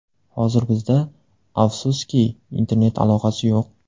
Hozir bizda, afsuski, internet aloqasi yo‘q.